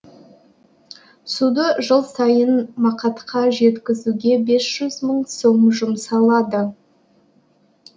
суды жыл сайын мақатқа жеткізуге бес жүз мың сом жұмсалады